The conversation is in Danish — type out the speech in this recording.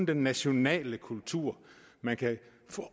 den nationale kultur man kan